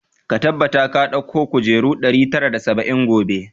Ka tabbata ka dauko kujeru ɗari tara da saba'in gobe!